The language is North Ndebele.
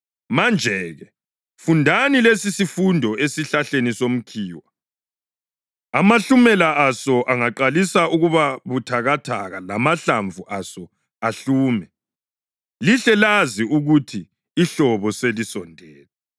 Manje-ke, fundani lesisifundo esihlahleni somkhiwa: Amahlumela aso angaqalisa ukuba buthakathaka lamahlamvu aso ahlume, lihle lazi ukuthi ihlobo selisondele.